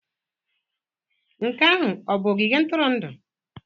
Nke ahụ ọ bụ ogige ntụrụndụ?